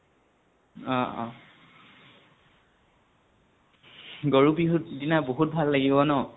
অ অ । গৰু বিহুৰ দিনা বহুত ভাল লাগিব ন?